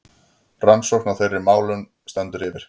Rannsókn á þeirra málum stendur yfir.